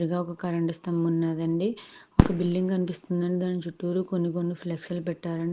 ఎదురుగా ఒక్క కరెంటు స్తంభం ఉన్నది అండి. ఒక బిల్డింగ్ కనిపిస్తుంది అండి దాని చిత్తూరు కొన్ని కొన్ని ఫ్లెక్స్ లు పెట్టా --